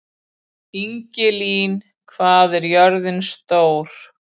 Ingilín, hvað er jörðin stór?